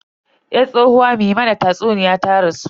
Yar tsohuwa me mana tatsuniya ta rasu.